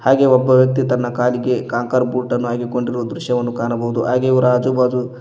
ಹಾಗೆ ಒಬ್ಬ ವ್ಯಕ್ತಿಯು ತನ್ನ ಕಾಲಿಗೆ ಕಾಂಕರ್ ಭೂಟನ್ನು ಹಾಕಿಕೊಂಡಿರುವ ದ್ರಶ್ಯವನ್ನು ಕಾಣಬಹುದು ಹಾಗೆ ಇವರ ಆಜು ಬಾಜು--